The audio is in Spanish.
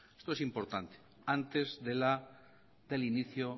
esto es importante antes del inicio